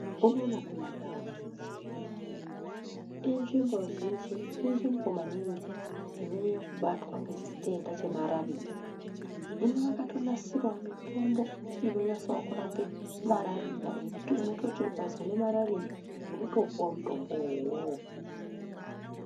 Unono kumandau unono Chipinge inzvimbo zhinji maningi inonyanya kubatwa nechitenda chemarariya hino vakatonasirawo mitombo inonyasewo kurapa marariya ekutoti ukazi une marariya unotopuwa mutombowo uwowo.